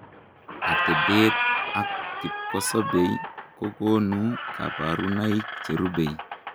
Atepeet ak kipkosobeei kokonuu kabarunaik cherubei